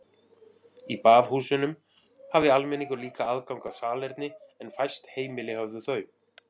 Í baðhúsunum hafði almenningur líka aðgang að salerni en fæst heimili höfðu þau.